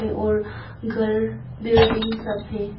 ये और घर बिल्डिंग सब है।